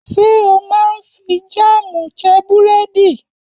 Ṣé o máa ń fi jáámù jẹ búrẹ́dì?